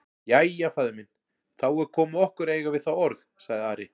Jæja, faðir minn, þá er komið að okkur að eiga við þá orð, sagði Ari.